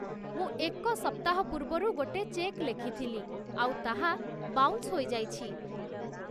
ମୁଁ ଏକ ସପ୍ତାହ ପୂର୍ବରୁ ଗୋଟେ ଚେକ୍ ଲେଖିଥିଲି, ଆଉ ତାହା ବାଉନ୍ସ ହୋଇଯାଇଛି